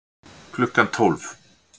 Klukkan tólf